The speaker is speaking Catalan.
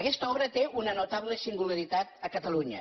aquesta obra té una notable singularitat a catalunya